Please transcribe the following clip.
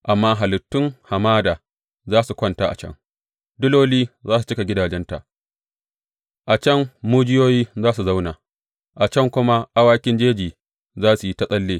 Amma halittun hamada za su kwanta a can, diloli za su cika gidajenta; a can mujiyoyi za su zauna, a can kuma awakin jeji za su yi ta tsalle.